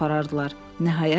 aparardılar.